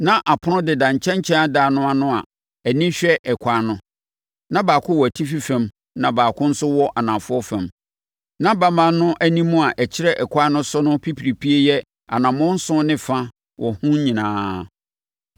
Na apono deda nkyɛnkyɛn adan no ano a ani hwɛ ɛkwan no. Na baako wɔ atifi fam na baako nso wɔ anafoɔ fam; na bamma no anim a ɛkyerɛ ɛkwan no so no pipiripie yɛ anammɔn nson ne fa wɔ ho nyinaa.